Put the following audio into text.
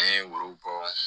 An ye woro bɔ